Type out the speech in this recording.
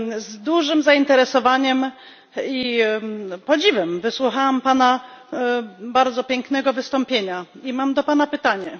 Z dużym zainteresowaniem i podziwem wysłuchałam Pana bardzo pięknego wystąpienia i mam do Pana pytanie.